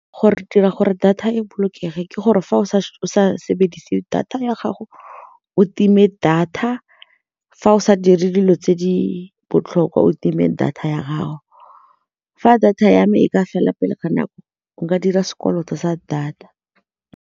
Gore re dira gore data e bolokege ke gore fa o sa sebedise data ya gago o time data fa o sa dire dilo tse di botlhokwa o time data ya gago, fa data ya me e ka fela pele ga nako nka dira sekoloto sa data.